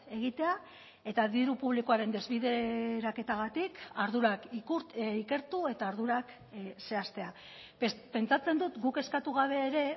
egitea eta diru publikoaren desbideraketagatik ardurak ikertu eta ardurak zehaztea pentsatzen dut guk eskatu gabe ere